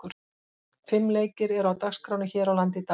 Fimm leikir eru á dagskránni hér á landi í dag.